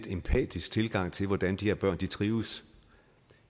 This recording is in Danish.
empatisk tilgang til hvordan de her børn trives